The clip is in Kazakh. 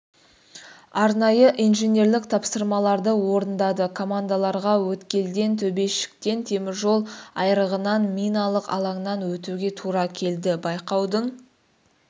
арнайы инженерлік тапсырмаларды орындады командаларға өткелден төбешіктен теміржол айрығынан миналық алаңнан өтуге тура келді байқаудың